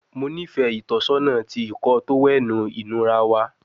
Mo nifẹ itọsọna ti Ìkọ́ọ tówẹ́ẹ̀nù inura wa